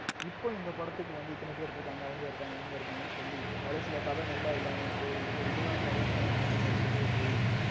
இப்ப இந்த படத்துக்கு வந்து இத்தனை பேர் இருக்காங்க அவுங்க இருக்காங்க இவுங்க இருக்காங்க சொல்லி கடைசியில கத நல்லா இல்லாம போய் இல்ல இதுதான் கதைன்னு மத்தவங்களுக்கு வெளிய போயி